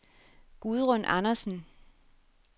Gudrun Andersen